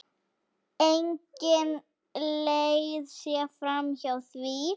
Engin leið sé framhjá því.